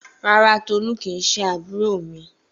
Rárá, Tolú kìí ṣe àbúrò mi.